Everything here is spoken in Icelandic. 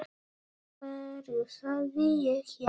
Af hverju sagði ég já?